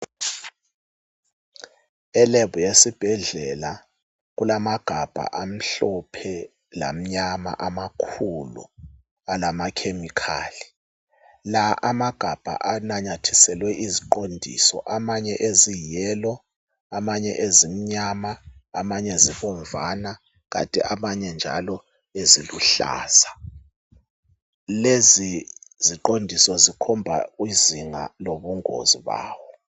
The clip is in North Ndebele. e lab yesibhedlela kulamagabha amhlophe lamnyama amakhulu alama chemical la amagabha ananyathiselwe iziqondiso amanye eziyi yellow amanye ezimnyama amanye ezibomvana kanye ezinye eziluhlaza lezi ziqondiso zikhomba ubungozi bazo